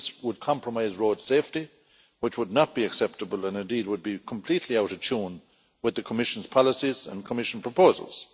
This would compromise road safety which would not be acceptable and indeed would be completely out of tune with the Commission's policies and Commission proposals.